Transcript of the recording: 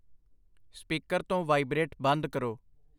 Speaker ਤੋਂ vibrate ਬੰਦ ਕਰੋ।